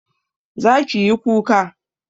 zaki yi kuka